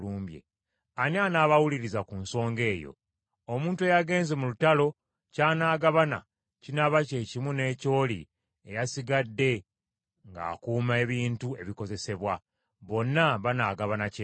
Ani anaabawuliriza ku nsonga eyo? Omuntu eyagenze mu lutalo ky’anaagabana, kinaaba kyekimu n’eky’oli eyasigadde ng’akuuma ebintu ebikozesebwa. Bonna banaagabana kyenkanyi.”